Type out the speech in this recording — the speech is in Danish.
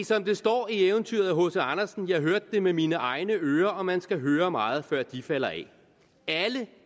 som der står i eventyret af hc andersen jeg hørte det med mine egne ører og man skal høre meget før de falder af alle